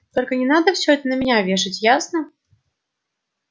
только не надо все это на меня вешать ясно